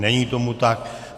Není tomu tak.